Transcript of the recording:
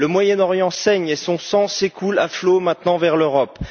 Le Moyen Orient saigne et son sang s'écoule à flot maintenant vers l'Europe.